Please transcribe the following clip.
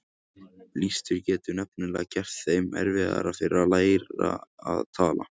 Blístur getur nefnilega gert þeim erfiðara fyrir að læra að tala.